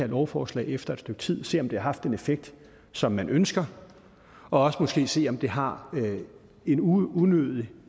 lovforslag efter et stykke tid for at se om det har haft den effekt som man ønsker og også måske se om det har en unødig